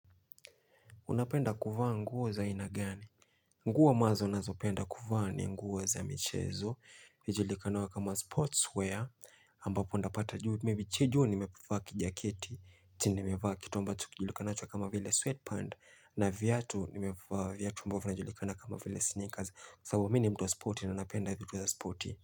Unapenda kuvaa nguo za aina gani? Nguo amabzo nazo penda kuvaa ni nguo za michezo. Vijulikano kama sportswear. Ambapo nitapata juu. Maybe cha juu nimefaa kijaketi. Tinde nimevaaki. Ambacho kijulikanachua kama vile sweatpants. Na viatu nimefaa viatu ambovyo inajulikana kama vile sneakers. Sababu mimini mtuwa sporti na napenda vituwa sporti.